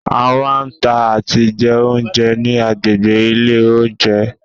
A máa ń tà àti jẹ oúnjẹ ni agbègbè ilé oúnjẹ.